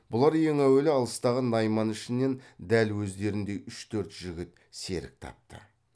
бұлар ең әуелі алыстағы найман ішінен дәл өздеріндей үш төрт жігіт серік тапты